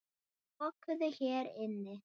Lokuðu hér inni.